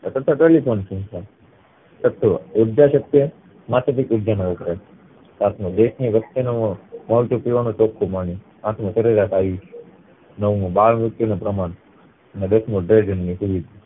અથવા telly phone સંસ્થા છઠ્ઠું ઉર્જા શક્તિ સાતમું દેશ ની વસ્તી મળતું પીવા નું ચોખ્ખું પાણી આઠમું સરેરાશ આયુષ નવમું બાળમૃત્યુ પ્રમાણ ને દસ મુ